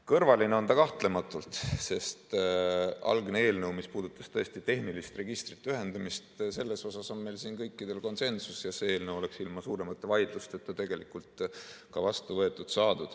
Kõrvaline on ta kahtlematult, sest algse eelnõu puhul, mis puudutas tõesti tehniliste registrite ühendamist, on meil siin kõikidel konsensus ja see eelnõu oleks ilma suuremate vaidlusteta tegelikult ka vastu võetud.